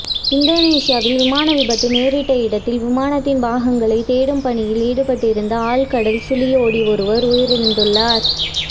இந்தோனேஷியாவில் விமான விபத்து நேரிட்ட இடத்தில் விமானத்தின் பாகங்களைத் தேடும் பணியில் ஈடுபட்டிருந்த ஆழ்கடல் சுழியோடி ஒருவர் உயிரிழந்துள்ளார்